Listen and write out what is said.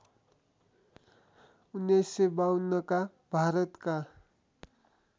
१९५२ का भारतका